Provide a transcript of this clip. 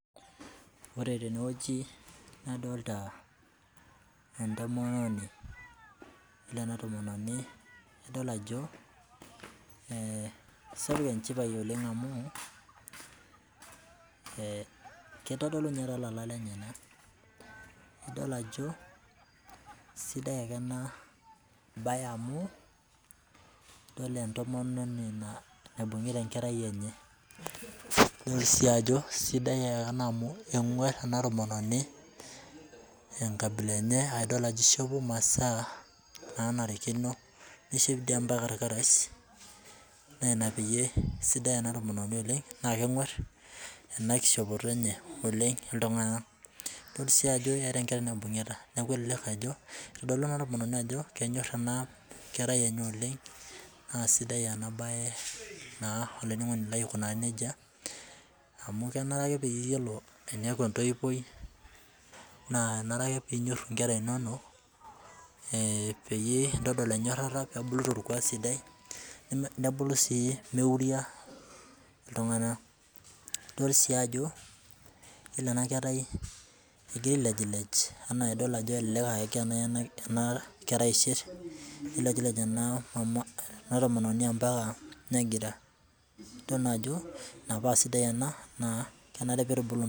Ore tenewueji nadolta entomononi ore entomononi nadol ajo sapuk enchipae oleng amu kitodolu nye tolarin lenyenak idol ajo sidai akenena bae amu idol entomononi naibungita emkwrai enye nidol ajo enguar enatomononi enkabila enye idol ajo ishopo masaa nanarikino nishop irkarash na inapee kesidai enatomononi oleng amu kenguar enakishopto enye ltunganak idol ajo eeta enkerai naibungita neakubitodolu enatomononi ajo kenyor enakerai enye oleng na sidai enabae olaininingoni lai aikunaa nejia amu kenare eniaku entoiwuoi na kenare ake pinyori nkwra inonok peintodol enyorara nebulu torkuak sidai nebulu si neuria ltunganak nidol is yiolo enakerai egirai ailejilej amu na idol ajo egira enakerai aishir nilejilej enatomononi mbaka negira nidol naajo inaapasida ena na kenare peitubuluni.